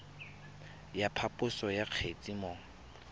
ya phaposo ya kgetse mo